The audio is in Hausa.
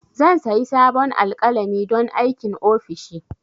Zan sayi sabon alƙalami don aikin ofishi